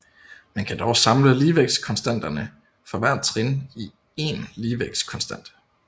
Man kan dog samle ligevægtskonstanterne for hvert trin i én ligevægtskonstant